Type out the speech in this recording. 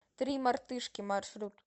три мартышки маршрут